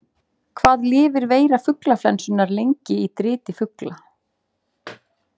Hvað lifir veira fuglaflensunnar lengi í driti fugla?